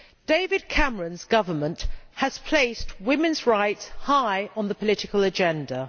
David Cameron's government has placed women's rights high on the political agenda.